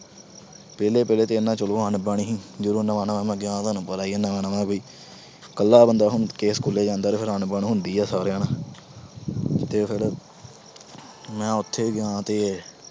ਪਹਿਲੇ-ਪਹਿਲੇ ਤਾਂ ਇਨਾ ਚਲੋ ਅਣਬਣ ਹੋਣੀ, ਜਦੋਂ ਨਵਾਂ-ਨਵਾਂ ਮੈਂ ਗਿਆ, ਤੁਹਾਨੂੰ ਪਤਾ ਈ ਆ ਨਵਾਂ-ਨਵਾਂ ਵੀ। ਕੱਲਾ ਬੰਦਾ ਜਦੋਂ school ਜਾਂਦਾ, ਫਿਰ ਅਣਬਣ ਹੁੰਦੀ ਆ ਸਾਰਿਆਂ ਨਾਲ ਤੇ ਫਿਰ ਮੈਂ ਉੱਥੇ ਗਿਆ ਤੇ